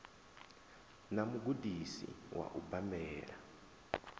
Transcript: na mugudisi wa u bambela